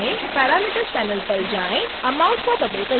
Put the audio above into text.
parameter panel पर जाएँ amount को बदलकर 0 करें